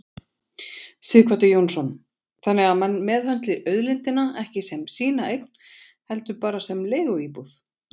Sighvatur Jónsson: Þannig að menn meðhöndli auðlindina ekki sem sína eign heldur bara sem leiguíbúð?